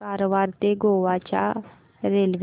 कारवार ते गोवा च्या रेल्वे